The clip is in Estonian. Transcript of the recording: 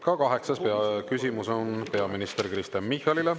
Ka kaheksas küsimus on peaminister Kristen Michalile.